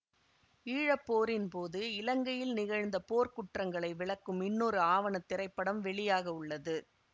ஈழப்போரின்போது இலங்கையில் நிகழ்ந்த போர்க்குற்றங்களை விளக்கும் இன்னொரு ஆவண திரைப்படம் வெளியாகவுள்ளது